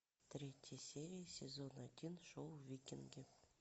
третья серия сезон один шоу викинги